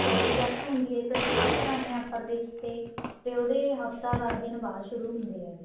ਕਟੋਰੀ wax ਹੁੰਦੀ ਏ ਇੱਕ ਜੇ ਉਹ ਕਰਾਦੇ ਹਾਂ upper lips ਤੇ ਤੇ ਉਹਦਾ ਹੱਫਤਾ ਦਸ ਦਿਨ ਬਾਅਦ ਸ਼ੁਰੂ ਹੁੰਦੇ ਹੈਗੇ